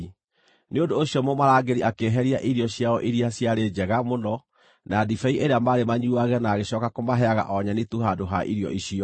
Nĩ ũndũ ũcio mũmarangĩri akĩeheria irio ciao iria ciarĩ njega mũno na ndibei ĩrĩa maarĩ manyuuage na agĩcooka kũmaheaga o nyeni tu handũ ha irio icio.